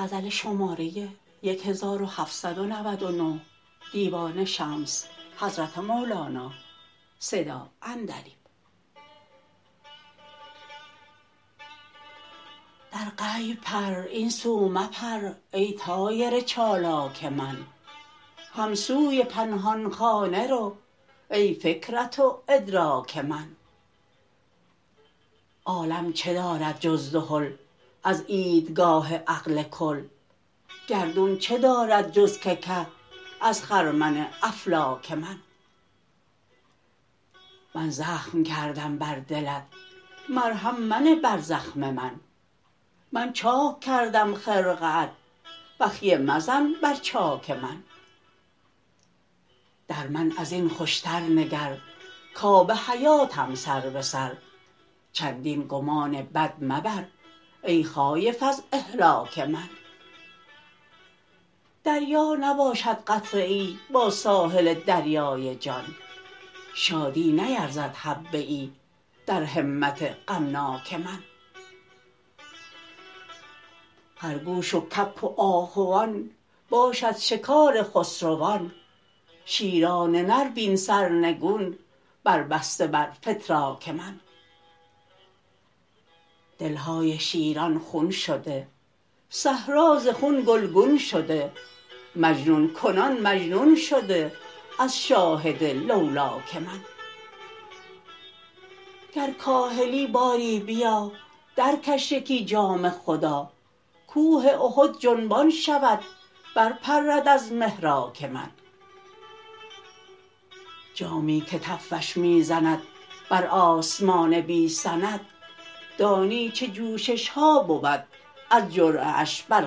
در غیب پر این سو مپر ای طایر چالاک من هم سوی پنهان خانه رو ای فکرت و ادراک من عالم چه دارد جز دهل از عیدگاه عقل کل گردون چه دارد جز که که از خرمن افلاک من من زخم کردم بر دلت مرهم منه بر زخم من من چاک کردم خرقه ات بخیه مزن بر چاک من در من از این خوشتر نگر کآب حیاتم سر به سر چندین گمان بد مبر ای خایف از اهلاک من دریا نباشد قطره ای با ساحل دریای جان شادی نیرزد حبه ای در همت غمناک من خرگوش و کبک و آهوان باشد شکار خسروان شیران نر بین سرنگون بربسته بر فتراک من دل های شیران خون شده صحرا ز خون گلگون شده مجنون کنان مجنون شده از شاهد لولاک من گر کاهلی باری بیا درکش یکی جام خدا کوه احد جنبان شود برپرد از محراک من جامی که تفش می زند بر آسمان بی سند دانی چه جوشش ها بود از جرعه اش بر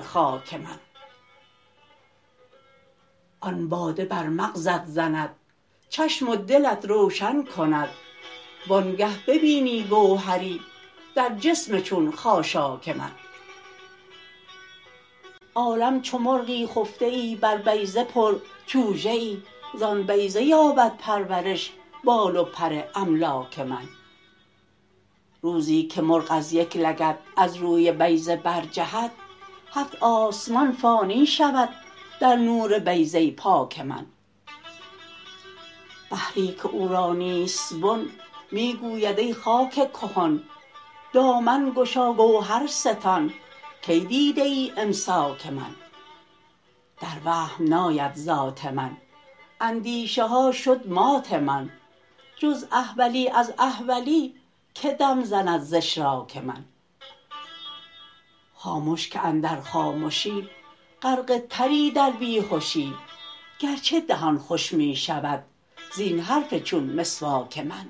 خاک من آن باده بر مغزت زند چشم و دلت روشن کند وانگه ببینی گوهری در جسم چون خاشاک من عالم چو مرغی خفته ای بر بیضه پرچوژه ای زان بیضه یابد پرورش بال و پر املاک من روزی که مرغ از یک لگد از روی بیضه برجهد هفت آسمان فانی شود در نور بیضه پاک من خری که او را نیست بن می گوید ای خاک کهن دامن گشا گوهر ستان کی دیده ای امساک من در وهم ناید ذات من اندیشه ها شد مات من جز احولی از احولی کی دم زند ز اشراک من خامش که اندر خامشی غرقه تری در بی هشی گرچه دهان خوش می شود زین حرف چون مسواک من